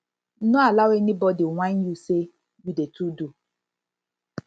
no allow anybodi whine yu sey you dey too do